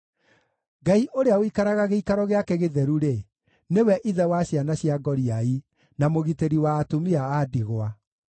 Ngai ũrĩa ũikaraga gĩikaro gĩake gĩtheru-rĩ, nĩwe ithe wa ciana cia ngoriai, na mũgitĩri wa atumia a ndigwa.